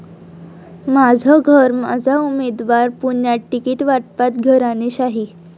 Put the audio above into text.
माझं घर, माझा उमेदवार', पुण्यात तिकीटवाटपात घराणेशाही